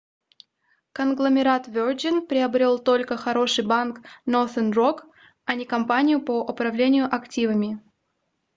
конгломерат virgin приобрел только хороший банк northern rock а не компанию по управлению активами